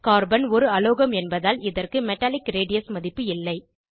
carbon ஒரு அலோகம் என்பதால் இதற்கு மெட்டாலிக் ரேடியஸ் மதிப்பு இல்லை